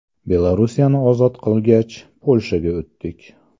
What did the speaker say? Belorussiyani ozod qilgach, Polshaga o‘tdik.